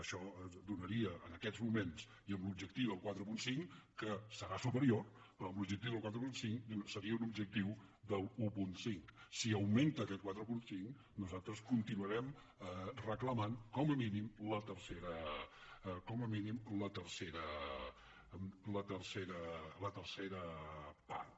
això ens donaria en aquests moments i amb l’objectiu del quatre coma cinc que serà superior però amb l’objectiu del quatre coma cinc seria un objectiu de l’un coma cinc si augmenta aquest quatre coma cinc nosaltres continuarem reclamant com a mínim la tercera part